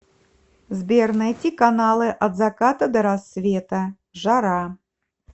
сбер найти каналы от заката до рассвета жара